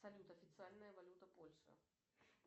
салют официальная валюта польши